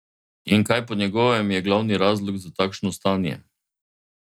In kaj po njegovem je glavni razlog za takšno stanje?